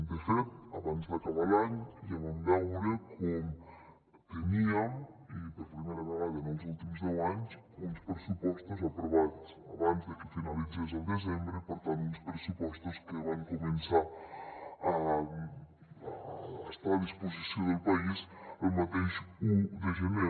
de fet abans d’acabar l’any ja vam veure com teníem i per primera vegada en els últims deu anys uns pressupostos aprovats abans de que finalitzés el desembre i per tant uns pressupostos que van començar a estar a disposició del país el mateix un de gener